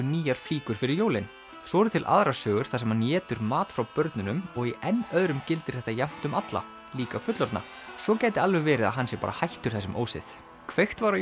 nýjar flíkur fyrir jólin svo eru til aðrar sögur þar sem hann étur mat frá börnunum og í enn öðrum gildir þetta jafnt um alla líka fullorðna svo gæti alveg verið að hann sé bara hættur þessum ósið kveikt var á